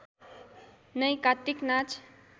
नै कात्तिक नाच